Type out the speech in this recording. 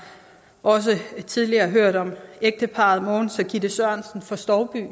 også tidligere hørt om ægteparret mogens og gitte sørensen fra stouby